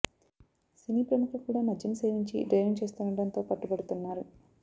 సినీ ప్రముఖులు కూడా మద్యం సేవించి డ్రైవింగ్ చేస్తుండ డంతో పట్టుబడుతున్నారు